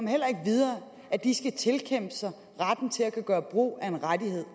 heller ikke videre at de skal tilkæmpe sig retten til at kunne gøre brug af en rettighed